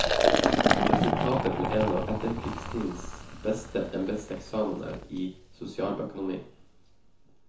Resultatet ble en av etterkrigstidens beste embedseksamener i sosialøkonomi.